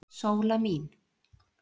Sóla mín.